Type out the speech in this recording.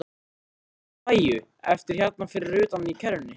Ég skil Maju eftir hérna fyrir utan í kerrunni.